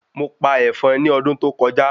Mo pa èfọn ni ọdún tó kọjá